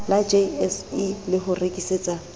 la jse le ho rekisetsa